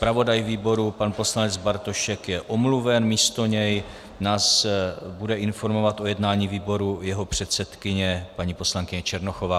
Zpravodaj výboru pan poslanec Bartošek je omluven, místo něj nás bude informovat o jednání výboru jeho předsedkyně, paní poslankyně Černochová.